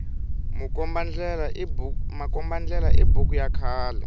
makomba ndlela i buku ya khale